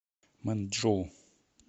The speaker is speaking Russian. мэнчжоу